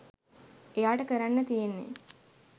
එයාට කරන්න තියෙන්නේ